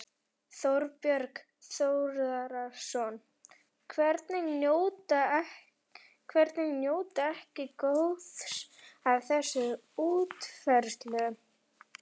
Þorbjörn Þórðarson: Hverjir njóta ekki góðs af þessari útfærslu?